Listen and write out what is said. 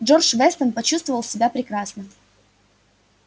джордж вестон почувствовал себя прекрасно